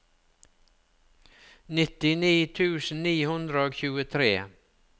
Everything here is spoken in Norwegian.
nittini tusen ni hundre og tjuetre